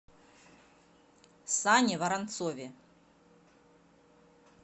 сане воронцове